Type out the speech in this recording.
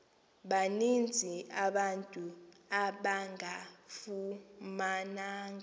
baninzi abantu abangafumananga